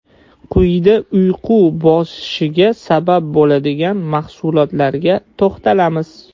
Quyida uyqu bosishiga sabab bo‘ladigan mahsulotlarga to‘xtalamiz.